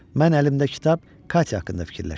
Mən əlimdə kitab Katya haqqında fikirləşirdim.